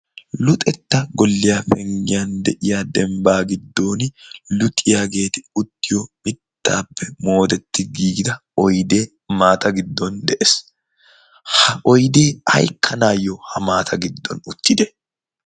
luxetta golliyaa penggiyan de7iya dembbaa giddon luxiyaageeti uttiyo mittaappe moodetti giigida oidee maata giddon de7ees. ha oidee haikkanaayyo ha maata giddon uttide?